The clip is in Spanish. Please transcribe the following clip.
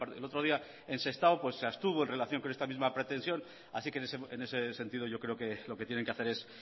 el otro día en sestao se abstuvo en relación con esta misma pretensión así que en ese sentido yo creo que lo que tienen que hacer es